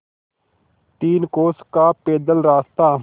तीन कोस का पैदल रास्ता